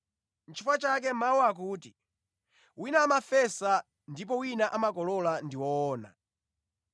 Nʼchifukwa chake mawu akuti, ‘Wina amafesa ndipo wina amakolola’ ndi woona.